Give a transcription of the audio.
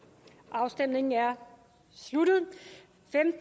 afstemningen er sluttet